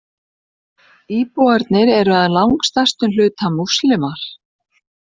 Íbúarnir eru að langstærstum hluta Múslimar